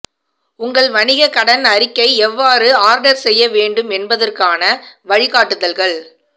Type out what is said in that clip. உங்கள் வணிக கடன் அறிக்கை எவ்வாறு ஆர்டர் செய்ய வேண்டும் என்பதற்கான வழிகாட்டுதல்கள்